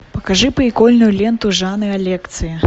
покажи прикольную ленту жанра лекция